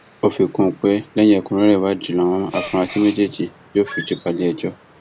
ó fi kún un pé lẹyìn ẹkúnrẹrẹ ìwádìí làwọn afurasí méjèèjì yóò fijú bá iléẹjọ